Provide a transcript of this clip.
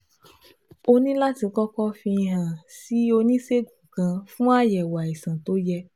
O ní láti kọ́kọ́ fi hàn án sí oníṣègùn kan fún àyẹ̀wò àìsàn tó yẹ